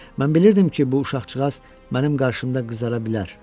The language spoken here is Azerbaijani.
Mən bilirdim ki, bu uşaqcağaz mənim qarşımda qızara bilər.